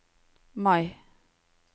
Mai